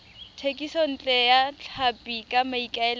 thekisontle ya tlhapi ka maikaelelo